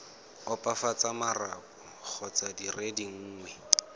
opafatsa marapo kgotsa dire dingwe